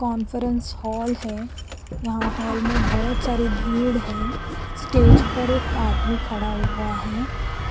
conference hall है यहा hall में बहोत सारी भीड़ है स्टेज पर एक आदमी खड़ा हुआ है